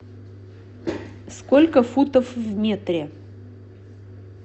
сколько футов в метре